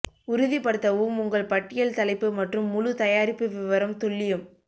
உறுதிப்படுத்தவும் உங்கள் பட்டியல் தலைப்பு மற்றும் முழு தயாரிப்பு விவரம் துல்லியம்